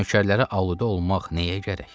Amma nökərlərə aludə olmaq nəyə gərək?